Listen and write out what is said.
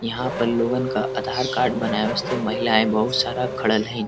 यहाँँ पर लोगन का आधार कार्ड बनाया। उससे महिलाये बहुत सारा खड़ल हईन।